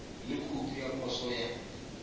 le khoutu ya poso ya